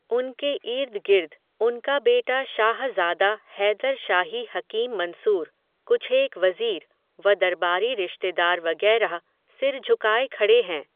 उनके ईर्दगिर्द, उनका बेटा शाहज़ादा हैदर शाही हकीम मंसूर, कुछेक वज़ीर, व दरबारी रिश्तेदार वगैरह, सिर झुकाए खड़े हैं